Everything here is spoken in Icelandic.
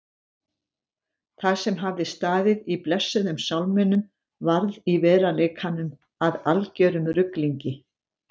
Það sem hafði staðið í blessuðum sálminum varð í veruleikanum að algerum ruglingi.